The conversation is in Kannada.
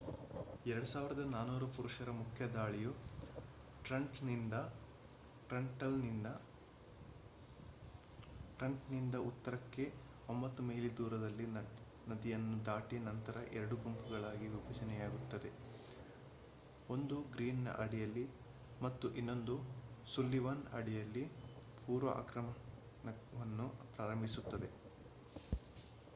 2,400 ಪುರುಷರ ಮುಖ್ಯ ದಾಳಿಯು ಟ್ರೆಂಟನ್‌ನಿಂದ ಉತ್ತರಕ್ಕೆ 9 ಮೈಲಿ ದೂರದಲ್ಲಿ ನದಿಯನ್ನು ದಾಟಿ ನಂತರ ಎರಡು ಗುಂಪುಗಳಾಗಿ ವಿಭಜನೆಯಾಗುತ್ತದೆ ಒಂದು ಗ್ರೀನ್‌ನ ಅಡಿಯಲ್ಲಿ ಮತ್ತು ಇನ್ನೊಂದು ಸುಲ್ಲಿವಾನ್ ಅಡಿಯಲ್ಲಿ ಪೂರ್ವ ಆಕ್ರಮಣವನ್ನು ಪ್ರಾರಂಭಿಸುತ್ತದೆ